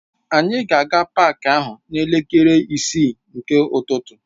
Anyị ga-aga paak ahụ n'elekere isii nke ụtụtụ.